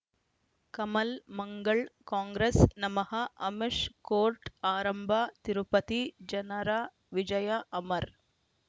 ಕಮಲ್ ಮಂಗಳ್ ಕಾಂಗ್ರೆಸ್ ನಮಃ ಅಮಿಷ್ ಕೋರ್ಟ್ ಆರಂಭ ತಿರುಪತಿ ಜನರ ವಿಜಯ ಅಮರ್